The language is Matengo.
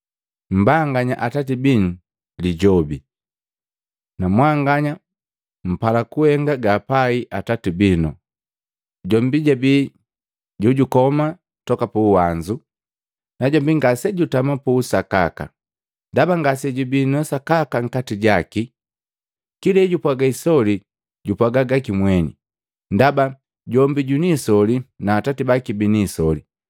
Mmbanganya atati binu Lijobi na mwanganya mpala kuhenga gapai atati binu. Jombi jabii jojukoma toka puwanzu. Najombi ngasejutama puusakaka, ndaba ngasejibi sakaka nkati jaki. Kila ejupwaga isoli, jupwaga gaki mweni, ndaba jombi jwinisoli na atati baki bini isoli.